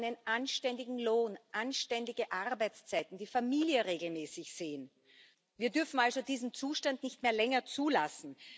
dann sagen sie einen anständigen Lohn, anständige Arbeitszeiten, die Familie regelmäßig sehen. Wir dürfen also diesen Zustand nicht mehr länger zulassen.